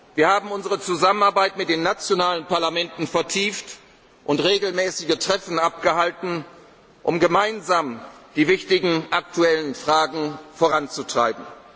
sich. Wir haben unsere Zusammenarbeit mit den nationalen Parlamenten vertieft und regelmäßige Treffen abgehalten, um gemeinsam die wichtigen aktuellen Fragen voranzutreiben.